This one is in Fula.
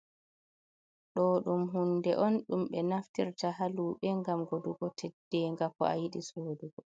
Ɗo ɗum hunde on ɗumbe naftirta haluɓe ngam godugo teddeenga ko a yiɗi sodugo.